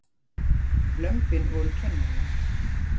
Lömbin voru kennarar hans.